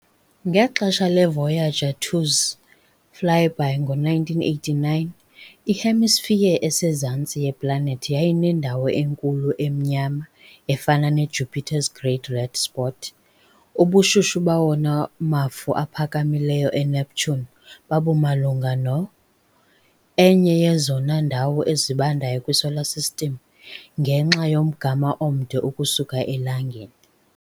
Ngexesha le-Voyager 2 's flyby ngo-1989, i-hemisphere esezantsi yeplanethi yayineNdawo Enkulu Emnyama efana ne-Jupiter's Great Red Spot, ubushushu bawona mafu aphakamileyo eNeptune babumalunga no, enye yezona ndawo zibandayo kwiSolar System, ngenxa yomgama omde ukusuka eLangeni.